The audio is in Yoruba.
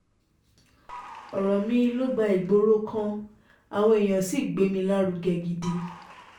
ọ̀rọ̀ mi ló gba ìgboro kan àwọn èèyàn sì gbé mi lárugẹ gidi